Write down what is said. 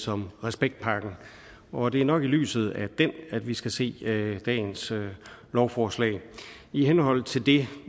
som respektpakken og det er nok i lyset af den at vi skal se dagens lovforslag i henhold til det